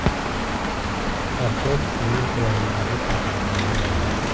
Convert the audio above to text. Artel sizning qulayligingiz haqida qayg‘uradi.